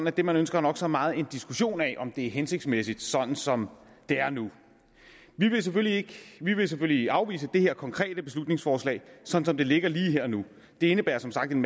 at det man ønsker nok så meget er en diskussion af om det er hensigtsmæssigt som det er nu vi vil selvfølgelig selvfølgelig afvise det konkrete beslutningsforslag som som det ligger lige her og nu det indebærer som sagt en